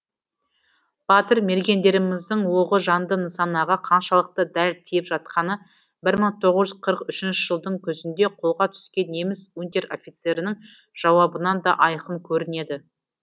батыр мергендеріміздің оғы жанды нысанаға қаншалықты дәл тиіп жатқаны бір мың тоғыз жүз қырық үшінші жылдың күзінде қолға түскен неміс унтер офицерінің жауабынан да айқын көрінеді